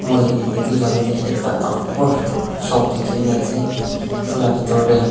mui itu jaga teh ekta dangor shop dikhi na ase itu la bitor deh--